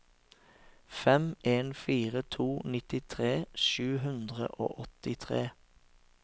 fem en fire to nittitre sju hundre og åttitre